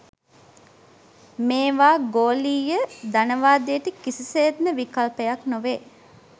මේවා ගෝලීය ධනවාදයට කිසිසේත්ම විකල්පයක් නොවේ.